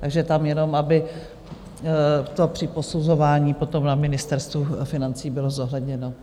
Takže tam jenom, aby to při posuzování potom na Ministerstvu financí bylo zohledněno.